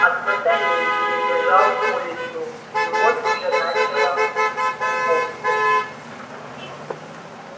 от батареи перебежал улицу и вот уже начало деповской